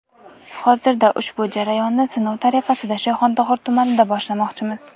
Hozirda ushbu jarayonni sinov tariqasida Shayxontohur tumanida boshlamoqchimiz.